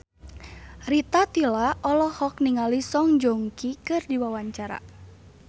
Rita Tila olohok ningali Song Joong Ki keur diwawancara